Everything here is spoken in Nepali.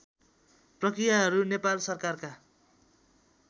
प्रक्रियाहरू नेपाल सरकारका